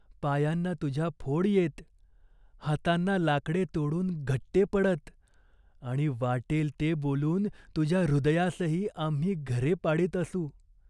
पायांना तुझ्या फोड येत. हातांना लाकडे तोडून घट्टे पडत आणि वाटेल ते बोलून तुझ्या हृदयासही आम्ही घरे पाडीत असू.